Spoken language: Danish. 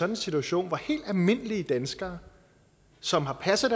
en situation hvor helt almindelige danskere som har passet